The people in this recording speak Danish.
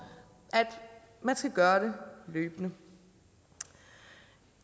at man skal gøre det løbende